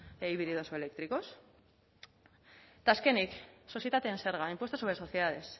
híbridos o eléctricos eta azkenik sozietatean zerga impuesto sobre sociedades